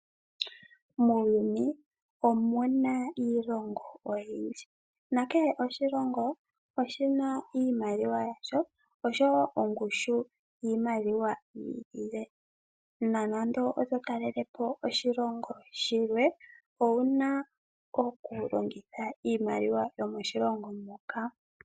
Muuyuni omuna iilongo oyindji nakele oshilongo oshina iimaliwa yasho oshowo ongushu yiimaliwa yi ili le nonando oto talele po oshilongo shilwe ouna okulongitha iimaliwa yomoshilongo moka.